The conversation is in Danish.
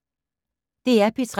DR P3